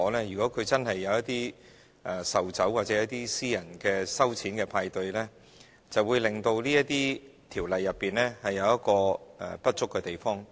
如果確實有一些售酒活動或舉行私人收錢的派對，便會造成這些條例不足的地方。